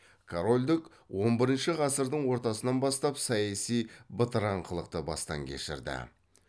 корольдік он бірінші ғасырдың ортасынан бастап саяси бытыраңқылықты бастан кешірді